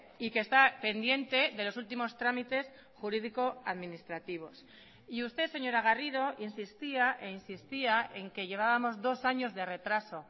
y que está pendiente de los últimos trámites jurídico administrativos y usted señora garrido insistía e insistía en que llevábamos dos años de retraso